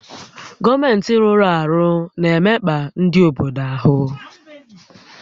Gọọmentị rụ́rụ́ àrụ́ na-emekpa ndị obodo áhụ́